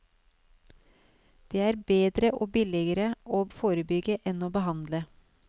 Det er bedre og billigere å forebygge enn å behandle.